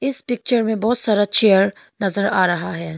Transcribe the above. इस पिक्चर में बहोत सारा चेयर नजर आ रहा है।